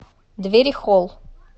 дверихолл